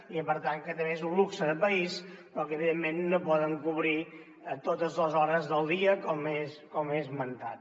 i per tant que també és un luxe de país però que evidentment no poden cobrir totes les hores del dia com he esmentat